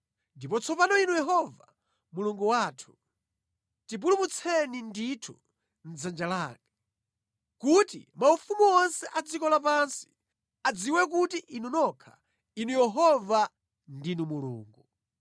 Ndipo tsopano Inu Yehova Mulungu wathu, tipulumutseni ndithu mʼdzanja lake, kuti maufumu onse a dziko lapansi adziwe kuti Inu nokha, Inu Yehova, ndinu Mulungu.”